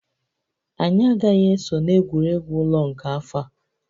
Anyị agaghị eso na egwuregwu ụlọ nke afọ a